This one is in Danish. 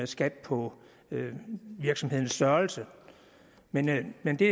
skat på virksomhedens størrelse men men det